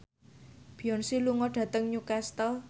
Beyonce lunga dhateng Newcastle